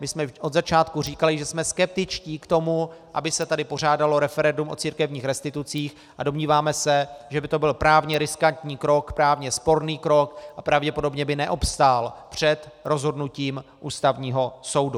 My jsme od začátku říkali, že jsme skeptičtí k tomu, aby se tady pořádalo referendum o církevních restitucích, a domníváme se, že by to byl právně riskantní krok, právně sporný krok a pravděpodobně by neobstál před rozhodnutím Ústavního soudu.